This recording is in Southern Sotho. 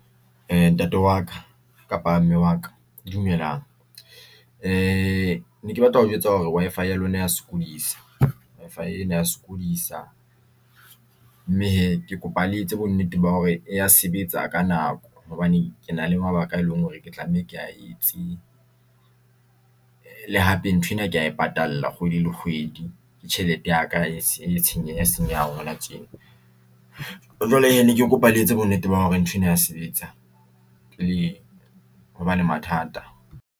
Ntate wa ka kapa mme wa ka dumelang neke batla ho jwetsa hore Wi-Fi ya lona ya sokodisa. Wi-Fi ena ya sokodisa mme hee ke kopa le etse bonnete ba hore ya sebetsa ka nako hobane ke na le mabaka e leng hore ke tlameha ke a etse le hape ntho ena ke ya e patala kgwedi le kgwedi. Ke tjhelete ya ka e tsenya senyehang hona tjena jwale ne ke kopa le etse bonnete ba hore ntho ena ya sebetsa pele hoba le mathata.